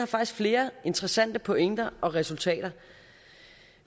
faktisk flere interessante pointer og resultater